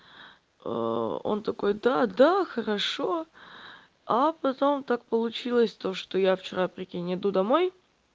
он такой да да хорошо а потом так получилось то что я вчера прикинь иду домой